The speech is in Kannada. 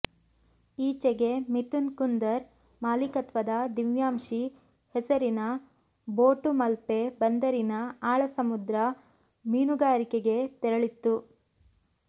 ಈಚೆಗೆ ಮಿಥುನ್ ಕುಂದರ್ ಮಾಲೀಕತ್ವದ ದಿವ್ಯಾಂಶಿ ಹೆಸರಿನ ಬೋಟು ಮಲ್ಪೆ ಬಂದರಿನಿಂದ ಆಳ ಸಮುದ್ರ ಮೀನುಗಾರಿಕೆಗೆ ತೆರಳಿತ್ತು